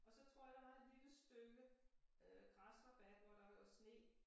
Og så tror jeg der var et lille stykke øh græsrabat hvor der lå sne